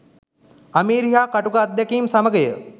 අමිහිරි හා කටුක අත්දැකීම් සමගය